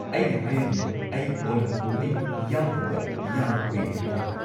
ꯑꯩꯅ ꯍꯥꯏꯔꯤꯗꯨꯅꯤ, ꯑꯩ ꯑꯣꯅꯝ ꯀꯨꯝꯍꯩ ꯌꯥꯎꯗꯕ ꯌꯥꯝ ꯀꯨꯏꯔꯦ ꯍꯥꯏꯅ꯫